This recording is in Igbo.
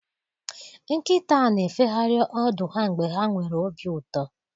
Nkịta na-efegharị ọdụ ha mgbe ha nwere obi ụtọ.